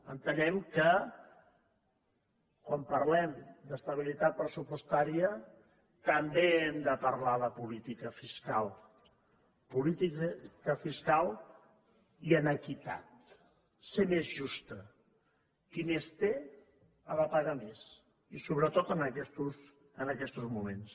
entenem que quan parlem d’estabilitat pressupostària també hem de parlar de política fiscal política fiscal i amb equitat ser més justa qui més té ha de pagar més i sobretot en aquestos moments